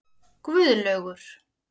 Guðlaugur